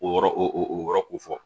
O yɔrɔ o yɔrɔ ko fɔ